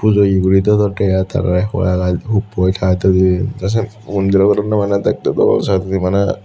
pujoye guri dedondey ai tara hola gaaj huppoi tatogey te syot mantra hoi dedonney maneh dektey bana sanyen maneh.